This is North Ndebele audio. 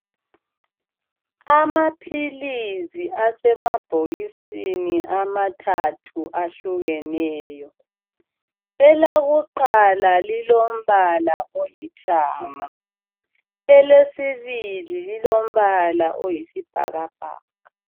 Amaphilisi asemabhokisini amathathu ahlukeneyo. Elakuqala lilombala olithanga ,elesibili lilombala oyisibhakabhaka.